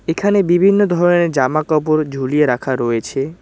এখানে বিভিন্ন ধরনের জামাকাপড় ঝুলিয়ে রাখা রয়েছে।